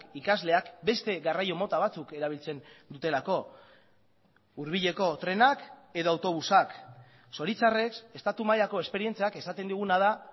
ikasleak beste garraio mota batzuk erabiltzen dutelako hurbileko trenak edo autobusak zoritxarrez estatu mailako esperientziak esaten diguna da